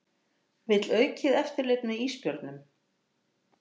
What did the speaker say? Vill aukið eftirlit með ísbjörnum